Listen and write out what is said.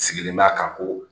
Sigilen b'a kan ko